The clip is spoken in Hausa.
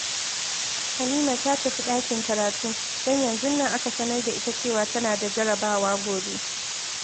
Halima ta tafi ɗakin karatu, don yanzun nan aka sanar da ita cewa tana da jarrabawa gobe